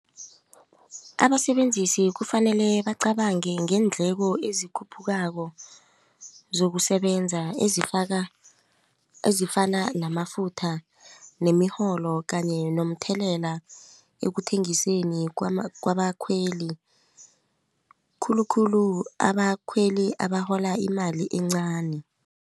Abasebenzisi kufanele bacabange ngeendleko ezikhuphukako zokusebenza ezifaka ezifana namafutha nemirholo kanye nomthelela ekuthengiseni kwabakhweli khulukhulu abakhweli abarhola imali encani.